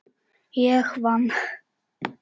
Ég vann.